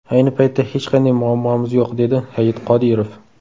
Ayni paytda hech qanday muammomiz yo‘q”, dedi Hayit Qodirov.